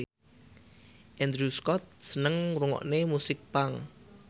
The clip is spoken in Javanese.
Andrew Scott seneng ngrungokne musik punk